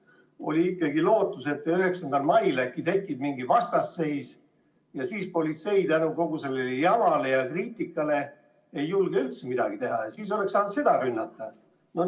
Neil oli ikkagi lootus, et 9. mail tekib mingi vastasseis ja siis politsei kogu sellele jama ja kriitika tõttu ei julge üldse midagi teha ning siis saaks omakorda seda rünnata.